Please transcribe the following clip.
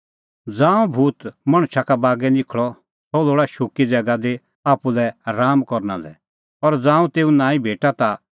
ज़ांऊं भूत मणछा का बागै निखल़ा सह लोल़ा शुक्की ज़ैगा दी आप्पू लै राआमा करना लै और ज़ांऊं तेऊ नांईं भेटा ता